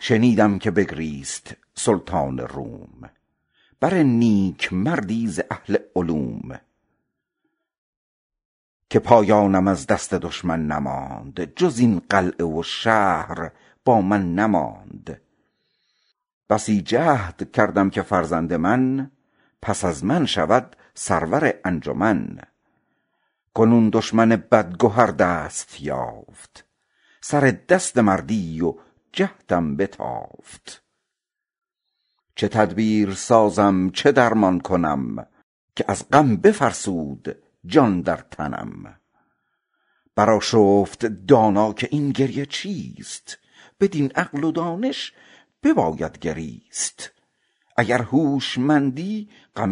شنیدم که بگریست سلطان روم بر نیکمردی ز اهل علوم که پایابم از دست دشمن نماند جز این قلعه و شهر با من نماند بسی جهد کردم که فرزند من پس از من بود سرور انجمن کنون دشمن بدگهر دست یافت سر دست مردی و جهدم بتافت چه تدبیر سازم چه درمان کنم که از غم بفرسود جان در تنم بگفت ای برادر غم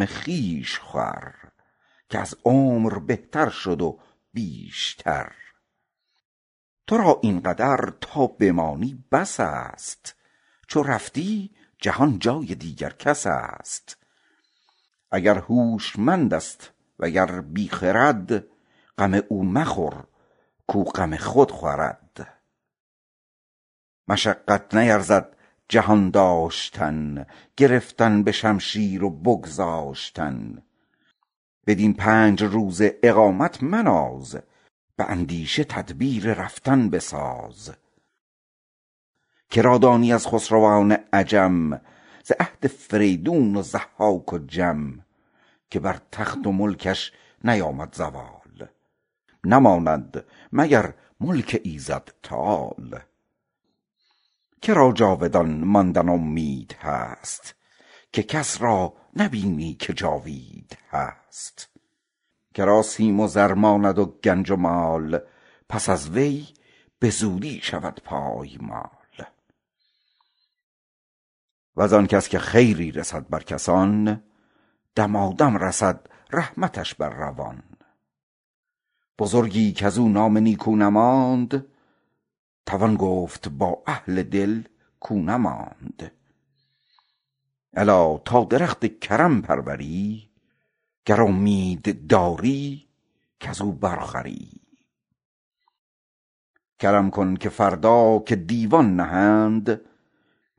خویش خور که از عمر بهتر شد و بیشتر تو را این قدر تا بمانی بس است چو رفتی جهان جای دیگر کس است اگر هوشمند است و گر بی خرد غم او مخور کاو غم خود خورد مشقت نیرزد جهان داشتن گرفتن به شمشیر و بگذاشتن بدین پنج روزه اقامت مناز به اندیشه تدبیر رفتن بساز که را دانی از خسروان عجم ز عهد فریدون و ضحاک و جم که بر تخت و ملکش نیامد زوال نماند به جز ملک ایزد تعال که را جاودان ماندن امید ماند چو کس را نبینی که جاوید ماند که را سیم و زر ماند و گنج و مال پس از وی به چندی شود پایمال وز آن کس که خیری بماند روان دمادم رسد رحمتش بر روان بزرگی کز او نام نیکو نماند توان گفت با اهل دل کاو نماند الا تا درخت کرم پروری گر امیدواری کز او بر خوری کرم کن که فردا که دیوان نهند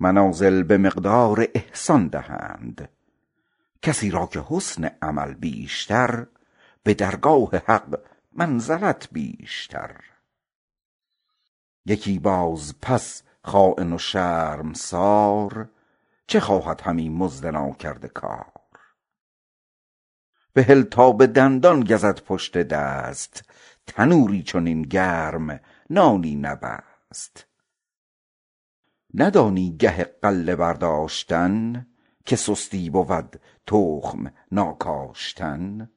منازل به مقدار احسان دهند یکی را که سعی قدم پیشتر به درگاه حق منزلت بیشتر یکی باز پس خاین و شرمسار بترسد همی مرد ناکرده کار بهل تا به دندان گزد پشت دست تنوری چنین گرم و نانی نبست بدانی گه غله برداشتن که سستی بود تخم ناکاشتن